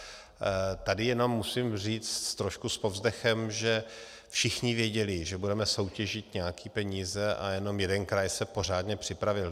Tady jenom musím říct trošku s povzdechem, že všichni věděli, že budeme soutěžit nějaké peníze, a jenom jeden kraj se pořádně připravil.